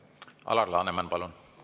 Alar Laneman, palun!